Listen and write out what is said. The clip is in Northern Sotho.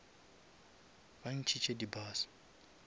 ba ntšhitše di bus